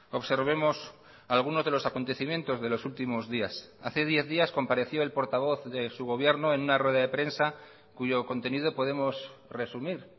observemos algunos de los acontecimientos de los últimos días hace diez días compareció el portavoz de su gobierno en una rueda de prensa cuyo contenido podemos resumir